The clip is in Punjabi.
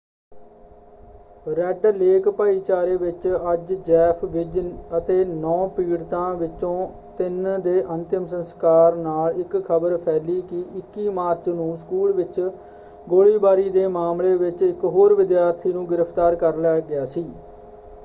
ਰੈੱਡ ਲੇਕ ਭਾਈਚਾਰੇ ਵਿੱਚ ਅੱਜ ਜੈਫ ਵੀਜ਼ ਅਤੇ 9 ਪੀੜਤਾਂ ਵਿਚੋਂ ਤਿੰਨ ਦੇ ਅੰਤਿਮ ਸੰਸਕਾਰ ਨਾਲ ਇੱਕ ਖਬਰ ਫੈਲੀ ਕਿ 21 ਮਾਰਚ ਨੂੰ ਸਕੂਲ ਵਿੱਚ ਗੋਲੀਬਾਰੀ ਦੇ ਮਾਮਲੇ ਵਿੱਚ ਇੱਕ ਹੋਰ ਵਿਦਿਆਰਥੀ ਨੂੰ ਗ੍ਰਿਫਤਾਰ ਕਰ ਲਿਆ ਗਿਆ ਸੀ।